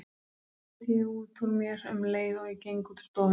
hreyti ég út úr mér um leið og ég geng út úr stofunni.